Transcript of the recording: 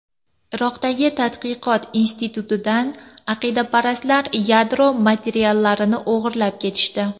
Iroqdagi tadqiqot institutidan aqidaparastlar yadro materiallarini o‘g‘irlab ketishdi.